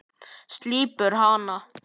Slípar hana.